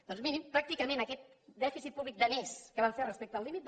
doncs miri pràcticament aquest dèficit públic de més que vam fer respecte al límit